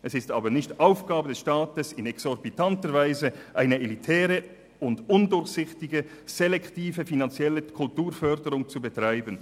es ist aber nicht Aufgabe des Staates, in exorbitanter Weise eine elitäre und undurchsichtige selektive Kulturförderung zu betreiben.